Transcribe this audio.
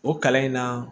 O kalan in na